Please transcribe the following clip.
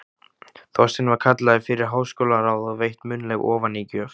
Þorsteinn var kallaður fyrir háskólaráð og veitt munnleg ofanígjöf.